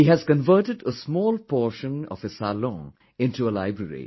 He has converted a small portion of his salon into a library